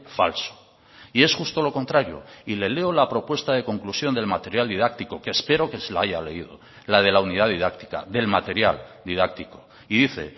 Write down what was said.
falso y es justo lo contrario y le leo la propuesta de conclusión del material didáctico que espero que se la haya leído la de la unidad didáctica del material didáctico y dice